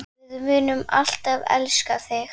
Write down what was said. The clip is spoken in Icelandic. Við munum alltaf elska þig.